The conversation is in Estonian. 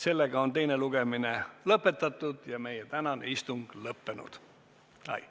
Nii et teine lugemine on lõpetatud ja meie tänane istung lõppenud.